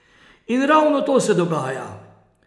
In ravno to se dogaja.